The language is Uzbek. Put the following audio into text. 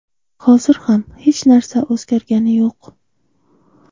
Hozir ham hech narsa o‘zgargani yo‘q.